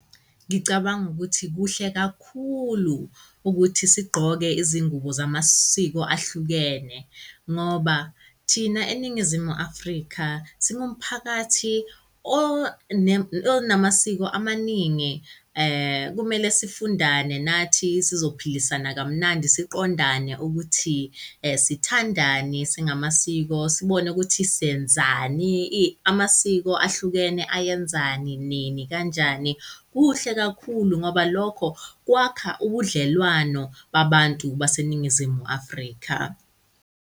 Ngicabanga ukuthi kuhle kakhulu ukuthi sigqoke izingubo zamasiko ahlukene ngoba thina eNingizimu Afrika singumphakathi onamasiko amaningi. Kumele sifundane nathi sizophilisana kamnandi siqondane ukuthi sithandani singamasiko sibone ukuthi senzani amasiko ahlukene ayenzani, nini, kanjani. Kuhle kakhulu ngoba lokho kwakha ubudlelwano babantu baseNingizimu Afrika.